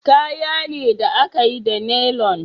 Kaya ne da a ka yi da nailon